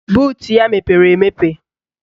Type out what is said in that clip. Buutu ya mepere emepe